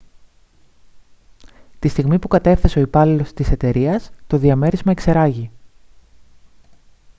τη στιγμή που κατέφθασε ο υπάλληλος της εταιρείας το διαμέρισμα εξερράγη